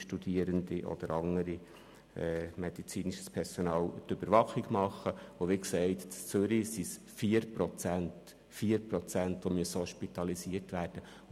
Wie gesagt handelt es sich in Zürich um 4 Prozent der Fälle, welche hospitalisiert werden müssen.